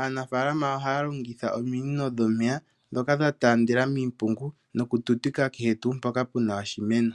aanafaalama ohaya longitha ominino dhomeya, ndhoka dha taandela miimpungu, noku tutika kehe mpoka puna iimeno.